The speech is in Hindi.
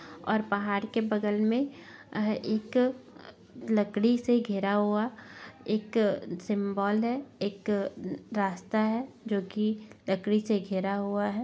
और पहाड़ के बगल मे एक अ लकड़ी से घिरा हुआ एक सिम्बोल है एक रास्ता है जो कि लकड़ी से घिरा हुआ है।